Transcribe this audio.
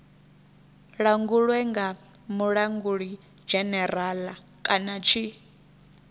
langulwe nga mulangulidzhenerala kana tshi